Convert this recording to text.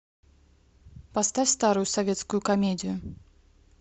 поставь старую советскую комедию